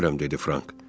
Bilmirəm, dedi Frank.